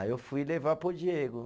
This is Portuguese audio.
Aí eu fui levar para o Diego.